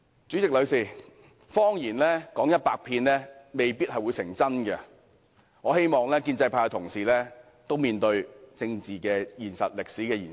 代理主席，謊言說一百遍未必會變真，我希望建制派同事敢於面對政治現實和歷史現實。